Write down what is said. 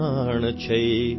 ಅಪನಾ ದೇಶ್ ಮಹಾನ್ ಹೈ ಭಯ್ಯಾ